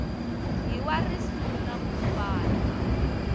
hi wa risuna ku fana